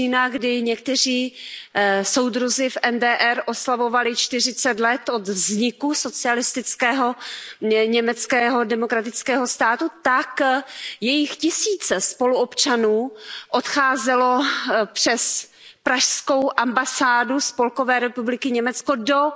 října, kdy někteří soudruzi v NDR oslavovali 40 let od vzniku socialistického Německého demokratického státu, tak tisíce jejich spoluobčanů odcházely přes pražskou ambasádu Spolkové republiky Německo do